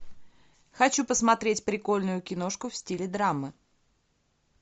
хочу посмотреть прикольную киношку в стиле драмы